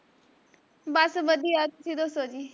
ਬਸ ਵਧੀਆ ਤੁਸੀਂ ਦੱਸੋ ਜੀ